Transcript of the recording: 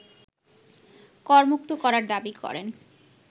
করমুক্ত করার দাবি করেন